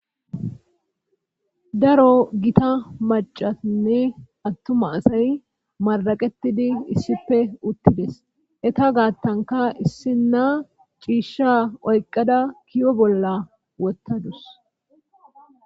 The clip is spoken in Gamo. Daro gita macatinne attuma asay maraqetidi issipe uttides eta gaattanka issinna ciishsha oyqada kiyo bolla wottadus